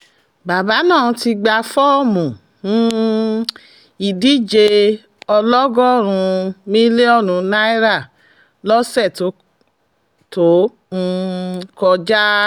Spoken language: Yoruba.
bàbá náà ti gba fọ́ọ̀mù um ìdíje ọlọ́gọ́rùn-ún mílíọ̀nù náírà lọ́sẹ̀ tó um kọjá